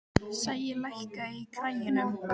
Sæi, lækkaðu í græjunum.